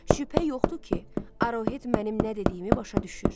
Şübhə yoxdur ki, Arohet mənim nə dediyimi başa düşür.